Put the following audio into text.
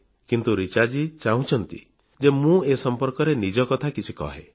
କିନ୍ତୁ ରିଚାଜୀ ଚାହୁଁଛନ୍ତି ଯେ ମୁଁ ଏ ସମ୍ପର୍କରେ ନିଜ କଥା କିଛି କହେଁ